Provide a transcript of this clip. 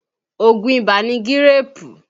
Òògùn ibà ni gíréèpù